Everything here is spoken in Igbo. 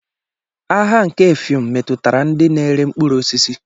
Agha nke Effium metụtara ndị na-ere mkpụrụ osisi.